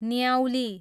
न्याउली